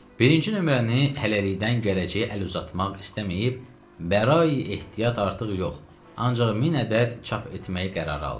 Birinci nömrəni hələlikdən gələcəyə əl uzatmaq istəməyib, bəra-i ehtiyat artıq yox, ancaq 1000 ədəd çap etməyi qərara aldıq.